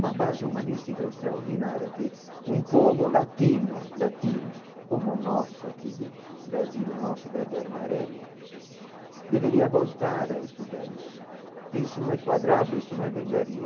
Uma base humanística extraordinária, que um povo latino, latino, como o nosso, aquilo Brasil, o nosso verde-armarelo, deveria voltar a estudar isso, porque isso não é quadrado, isso não é velharia.